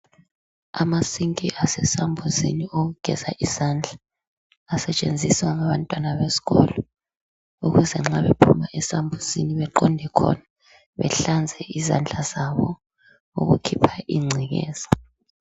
Amasinki asesambuzini awokugeza izandla asetshenziswa ngabantwana besikolo ukuze nxa bephuma esambuzini baqonde khona behlanze izandla zabo ukukhipha ingcekeza.